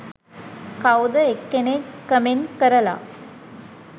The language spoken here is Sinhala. කවුද එක්කෙනෙක් කමෙන්ට් කරලා